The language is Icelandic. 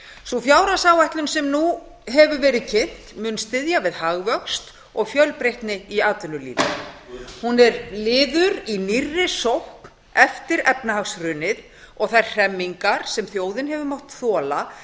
sú fjárhagsáætlun sem nú hefur verið kynnt mun styðja við hagvöxt og fjölbreytni í atvinnulífi hún er liður í nýrri sókn eftir efnahagshrunið og þær hremmingar sem þjóðin hefur mátt þola